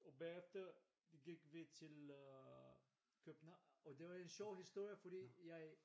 Og bagefter vi gik vi til København og det var en sjov historie fordi jeg